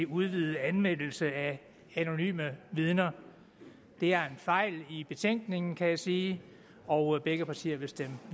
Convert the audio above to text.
udvidet anvendelse af anonyme vidner det er en fejl i betænkningen kan jeg sige og begge partier vil stemme